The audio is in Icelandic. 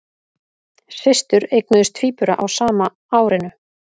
Systur eignuðust tvíbura á sama árinu